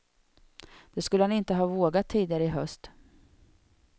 Det skulle han inte ha vågat tidigare i höst.